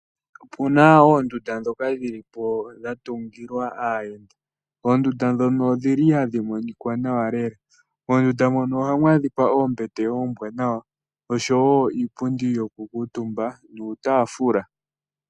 Opuna oondunda ndhoka dhilipo dhatungilwa aayenda. Oondunda ndhono odhili hadhi monika nawa lela. Moondunda mono ohamu adhika oombete oombwanawa oshowoo nuutaafula.